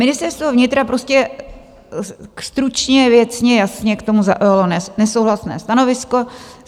Ministerstvo vnitra prostě stručně, věcně, jasně k tomu zaujalo nesouhlasné stanovisko.